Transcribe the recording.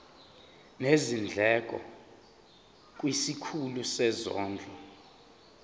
nezindleko kwisikhulu sezondlo